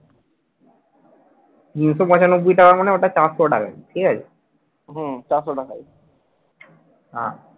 তিনশো পঁচানব্বই টাকা মানে ওটা চারশো টাকা ঠিক আছে হ্যাঁ